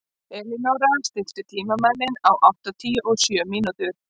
Elínóra, stilltu tímamælinn á áttatíu og sjö mínútur.